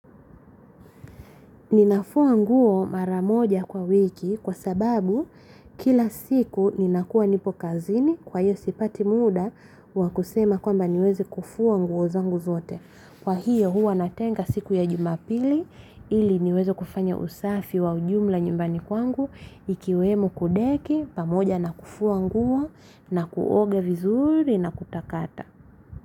Ninafua nguo mara moja kwa wiki kwa sababu kila siku ninakuwa nipo kazini kwa hiyo sipati muda wakusema kwamba niweze kufua nguo zangu zote. Kwa hiyo huwa natenga siku ya jumapili ili niweze kufanya usafi wa ujumla nyumbani kwangu ikiwemo kudeki pamoja na kufua nguo na kuoga vizuri na kutakata.